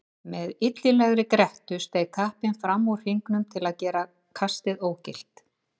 Með illilegri grettu steig kappinn fram úr hringnum til að gera kastið ógilt.